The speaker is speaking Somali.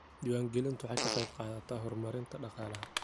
Diiwaangelintu waxay ka qaybqaadataa horumarinta dhaqaalaha.